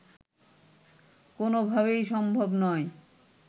কোনোভাবেই সম্ভব নয়